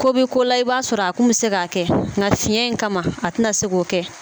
Ko bɛ ko la i b'a sɔrɔ a kun bɛ se k'a kɛ nga fiyɛn in kama a tɛna se k'o kɛ.